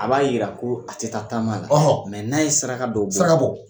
A b'a yira ko a tɛ taa taama na n'a ye saraka dɔ bɔ saraka bɔ.